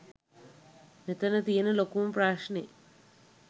මෙතන තියෙන ලොකුම ප්‍රශ්නෙ.